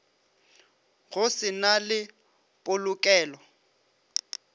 go se na le polokelo